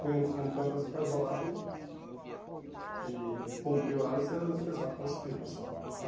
Põe você num canto, aí você ficava isolado e e cumpria o horário você era dispensado para você ir para a sala.